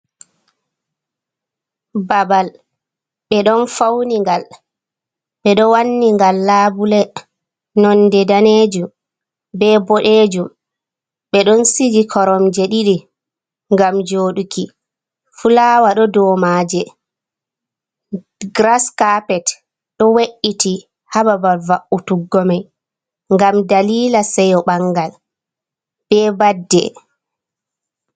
Babal ɓe ɗon fauni ngal ɓe ɗo wanni ngal labule nonde danejum, be bodejum ɓeɗon sigi koromje ɗiɗi gam joɗuki. Fulawa ɗo domaje, gras kapet ɗo we’iti ha babal va’utuggomai, gam dalila seyo bangal be badde.